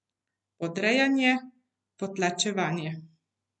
Podrejanje, potlačevanje.